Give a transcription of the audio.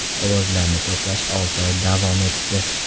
Ovozlarni to‘plash olti oy davom etdi.